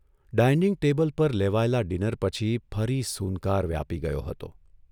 Dining table પર લેવાયેલા dinner પછી ફરી સૂનકાર વ્યાપી ગયો હતો.